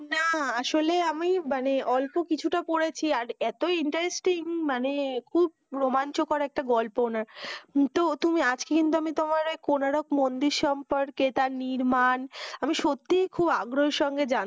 না আসলে আমি মানে অল্প কিছুটা করেছি আর এতই interesting মানে খুব রোমাঞ্চকর একটা গল্প না, তো তুমি আজ কিন্তু আমি তোমাকে কোনারক মন্দির সম্পর্কে তার নির্মাণ সুখ